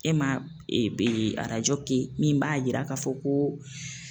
E ma e be kɛ min b'a yira k'a fɔ ko